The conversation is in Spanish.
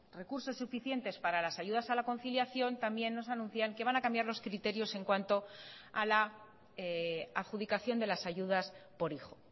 recursos suficientes para las ayudas a la conciliación también nos anuncian que van a cambiar los criterios en cuanto a la adjudicación de las ayudas por hijo